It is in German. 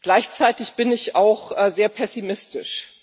Gleichzeitig bin ich auch sehr pessimistisch.